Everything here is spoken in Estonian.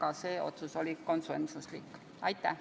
Aitäh!